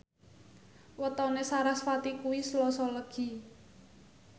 wetone sarasvati kuwi Selasa Legi